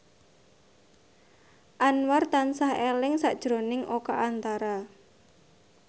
Anwar tansah eling sakjroning Oka Antara